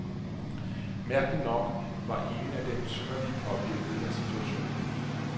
Mærkeligt nok var ingen af dem synderligt påvirket af situationen.